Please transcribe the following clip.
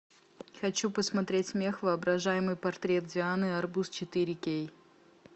хочу посмотреть смех воображаемый портрет дианы арбуз четыре кей